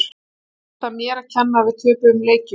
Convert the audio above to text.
Var það mér að kenna að við töpuðum leikjum?